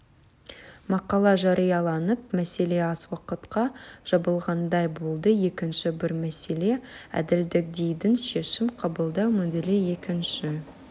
мақала жарияланып мәселе аз уақытқа жабылғандай болды екінші бір мәселе әділдік дэйдің шешім қабылдау моделі екінші